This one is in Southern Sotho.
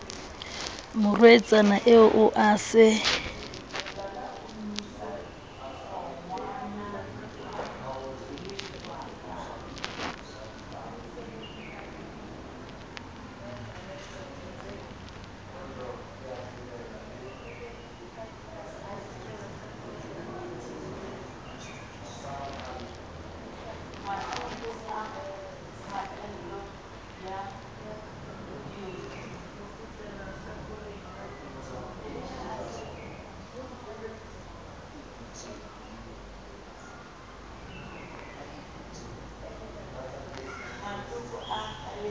morwetsana eo o a se